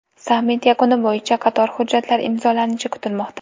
Sammit yakuni bo‘yicha qator hujjatlar imzolanishi kutilmoqda.